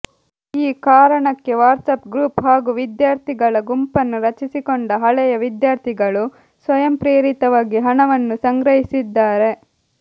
ಈ ಕಾರಣಕ್ಕೆ WhatsApp group ಹಾಗೂ ವಿದ್ಯಾರ್ಥಿಗಳ ಗುಂಪನ್ನು ರಚಿಸಿಕೊಂಡ ಹಳೆಯ ವಿದ್ಯಾರ್ಥಿಗಳು ಸ್ವಯಂಪ್ರೇರಿತವಾಗಿ ಹಣವನ್ನು ಸಂಗ್ರಹಿಸಿದ್ದಾರೆ